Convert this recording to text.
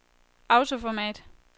autoformat